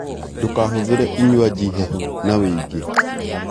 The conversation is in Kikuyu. Ndũkahũthire inywaji hehu na wiingi